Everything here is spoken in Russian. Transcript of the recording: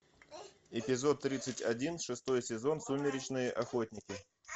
эпизод тридцать один шестой сезон сумеречные охотники